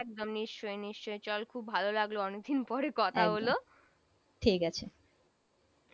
একদম নিশ্চয় নিশ্চয় চল খুব ভালো লাগলো অনেক দিন পরে কথা হল সেই ঠিক আছে